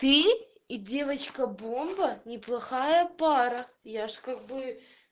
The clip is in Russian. ты и девочка бомба неплохая пора я же как бы